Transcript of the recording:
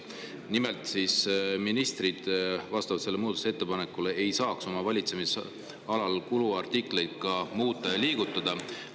Nimelt, ministrid vastavalt sellele muudatusettepanekule ei saaks oma valitsemisalal kuluartikleid muuta ja liigutada.